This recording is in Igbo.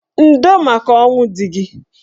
Ndo maka ọnwụ dị gị.